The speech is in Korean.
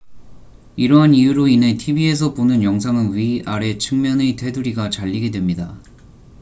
이러한 이유로 인해 tv에서 보는 영상은 위 아래 측면의 테두리가 잘리게 됩니다